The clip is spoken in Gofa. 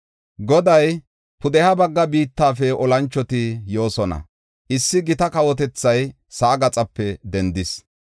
Goday, “Pudeha bagga biittafe olanchoti yoosona; issi gita kawotethay sa7aa gaxape dendis.